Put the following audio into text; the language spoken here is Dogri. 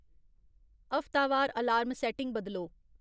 हफ्तावार अलार्म सैट्टिंग बदलो